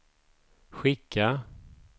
skicka